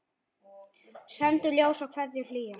Sendum ljós og kveðjur hlýjar.